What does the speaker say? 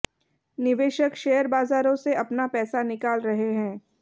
निवेशक शेयर बाजारों से अपना पैसा निकाल रहे हैं